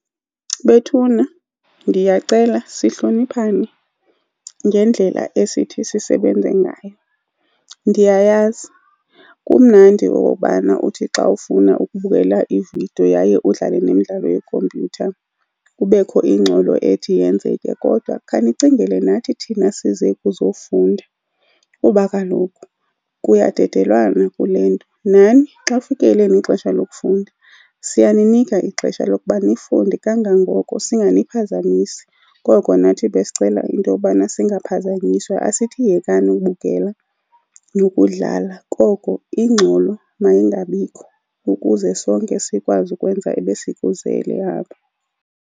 Bethuna ndiyacela sihloniphane ngendlela esithi sisebenze ngayo. Ndiyayazi kumnandi okokubana uthi xa ufuna ukubukela ividiyo yaye udlale nemidlalo yekhompyutha kubekho ingxolo ethi yenzeke kodwa khanicingele nathi thina size kuzofunda kuba kaloku kuyadedelwana kule nto. Nani xa kufike elenu ixesha lokufunda, siyaninika ixesha lokuba nifunde kangangoko, singaniphazamisi. Koko nathi besicela into yobana singaphazanyiswa. Asithi yekani ukubukela nokudlala, koko ingxolo mayingabikho ukuze sonke sikwazi ukwenza ebesikuzele apha.